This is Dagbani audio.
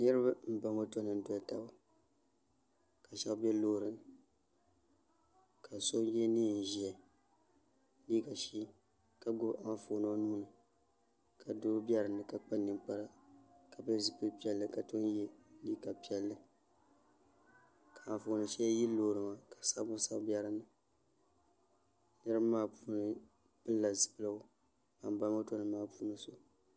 Niriba m ba moto nima n doli taba ka sheba be loori ni ka so ye liiga ʒee ka gbibi anfooni o nuuni ka doo be dinni ka kpa ninkpara ka pili zipil'piɛlli ka tom ye liiga piɛlli ka anfooni sheli yili loori maa ka sabbu sabi be loori maa niriba maa puuni pilila zipiligu ban ba moto nima maa puuni so.